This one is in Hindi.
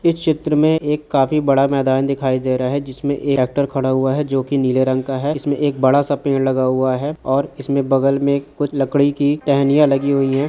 इस चित्र में एक काफी बड़ा मैदान दिखाई दे रहा है|